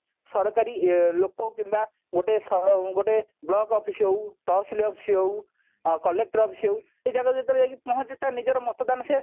ସରକାରୀ ଲୋକ କିମ୍ବା ଗୋଟେ ଗୋଟେ block office ହଉ ତହସିଲ office ହଉ ଆ collector office ହଉ ଏଇ ଜାଗାରେ ଯେତେବେଳେ ଯାଇକି ପହଞ୍ଚେ ତା ନିଜର ମତଦାନ ସେ